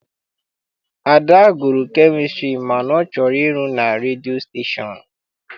Ada gụrụ kemịstri mana ọ chọrọ ịrụ na redio stashon.